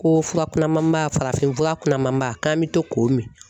Ko fura kunanmanba farafin fura kunnamanba k'an bɛ to k'o min